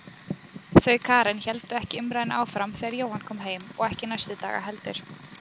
Þau Karen héldu ekki umræðunni áfram þegar Jóhann kom heim og ekki næstu daga heldur.